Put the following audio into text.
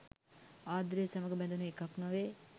ආදරය සමඟ බැඳුන එකක් නොවේ.